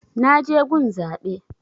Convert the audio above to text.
Na je gun zaɓe